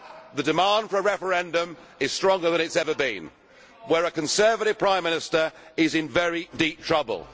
the demand for a referendum is stronger than it has ever been, where our Conservative Prime Minister is in very deep trouble.